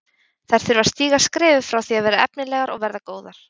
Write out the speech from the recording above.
Þær þurfa að stíga skrefið frá því að vera efnilegar og verða góðar.